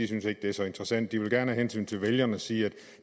synes at det er så interessant de vil gerne af hensyn til vælgerne sige at